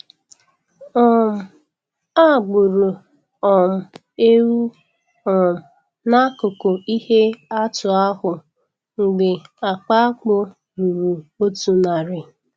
um A gburu um ewu um n'akụkụ ihe atụ ahụ mgbe akpa akpu ruru otu narị.